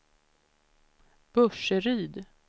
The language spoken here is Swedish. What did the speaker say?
Burseryd